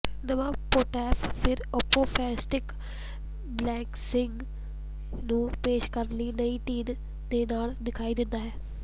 ਨਵਾਂ ਪੋੰਟਾਫ ਫਿਰ apostolic blessing ਨੂੰ ਪੇਸ਼ ਕਰਨ ਲਈ ਡੀਨ ਦੇ ਨਾਲ ਦਿਖਾਈ ਦਿੰਦਾ ਹੈ